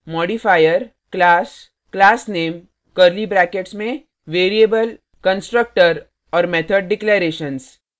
modifier – classclassname curly brackets में variable constructor और method declarations